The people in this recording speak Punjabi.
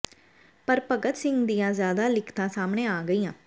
ਪਰ ਭਗਤ ਸਿੰਘ ਦੀਆਂ ਜ਼ਿਆਦਾ ਲਿਖਤਾਂ ਸਾਹਮਣੇ ਆ ਗਈਆਂ